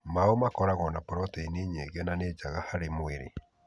Maũ makoragwo na proteini nyingĩ na nĩ njega harĩ mwĩrĩ.